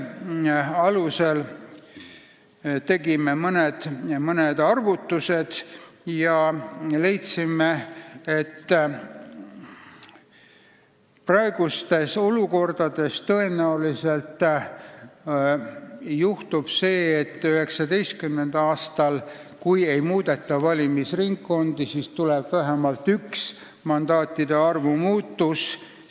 Selle alusel tegime mõned arvutused ja leidsime, et praeguses olukorras tõenäoliselt juhtub see, et kui valimisringkondi ei muudeta, siis 2019. aastal tuleb vähemalt üks mandaatide arvu muutus.